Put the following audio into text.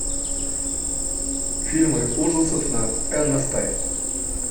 фильмы ужасов на нст